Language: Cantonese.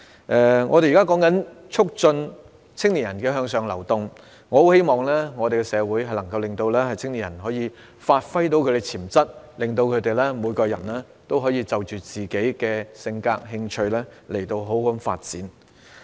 至於如何促進青年人向上流動，我很希望社會能夠讓青年人發揮潛能，讓他們每個人都可以因應自己的性格和興趣好好發展。